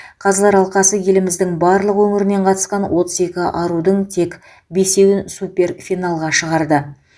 қазылар алқасы еліміздің барлық өңірінен қатысқан отыз екі арудың тек бесеуін супер финалға шығарды